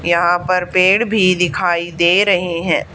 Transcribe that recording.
यहां पर पेड़ भी दिखाई दे रहे हैं।